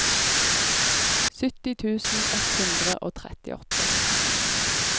sytti tusen ett hundre og trettiåtte